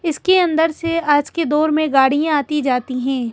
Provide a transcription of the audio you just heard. इसके अंदर से आज के दौर में गाड़ियां आती जाती हैं।